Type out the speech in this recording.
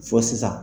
Fɔ sisan